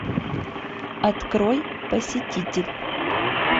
открой посетитель